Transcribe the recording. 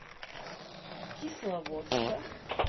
кисловодска